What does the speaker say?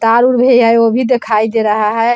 वो भी दिखाई दे रहा है ।